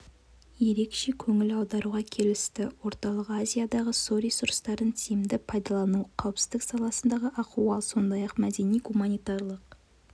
ерекше көңіл аударуға келісті орталық азиядағы су ресурастарын тиімді пайдалану қауіпсіздік саласындағы ахуал сондай-ақ мәдени-гуманитарлық